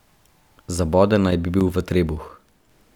Zaboden naj bi bil v trebuh.